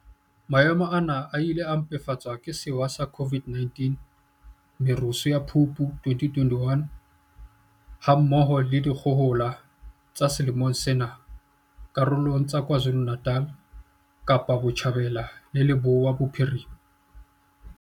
Maemo ana a ile a mpefatswa ke sewa sa COVID-19, merusu ya Phupu 2021, ha mmoho le dikgohola tsa selemong sena karolong tsa KwaZulu-Natal, Kapa Botjhabela le Leboya Bophirima.